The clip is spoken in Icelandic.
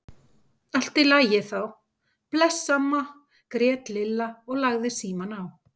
Allt í lagi þá, bless amma grét Lilla og lagði símann á.